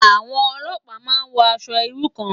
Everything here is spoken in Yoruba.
Awòn òlòpá má n wò ãṣò irú kàn